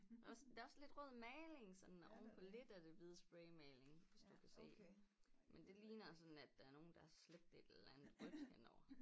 Også der er også lidt rød maling sådan oven på lidt af det hvide spraymaling hvis du kan se men det ligner altså nat der er nogle der har slæbt et eller andet rødt hen over